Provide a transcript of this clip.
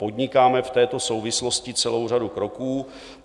Podnikáme v této souvislosti celou řadu kroků.